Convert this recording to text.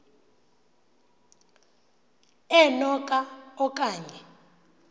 eno ka okanye